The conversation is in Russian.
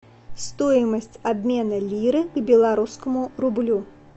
стоимость обмена лиры к белорусскому рублю